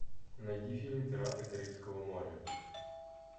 найди фильм пираты карибского моря